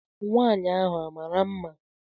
Nwaanyị ahụ a mara mma?